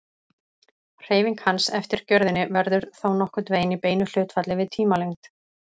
Hreyfing hans eftir gjörðinni verður þá nokkurn veginn í beinu hlutfalli við tímalengd.